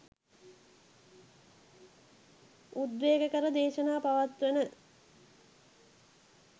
උද්වේගකර දේශනා පවත්වන